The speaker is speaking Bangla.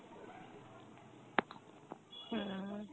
হম।